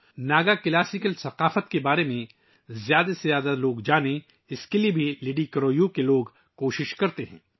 لڈی کرو یو کے لوگ زیادہ سے زیادہ لوگوں کو ناگا لوک ثقافت کے بارے میں جاننے کی کوشش کرتے ہیں